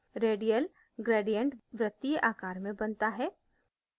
radial gradient वृत्तीय आकार में बनता है